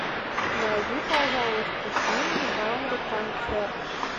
найди пожалуйста фильм в жанре концерт